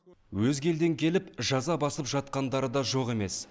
өзге елден келіп жаза басып жатқандары да жоқ емес